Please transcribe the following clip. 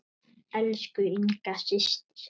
Elsku Inga systir.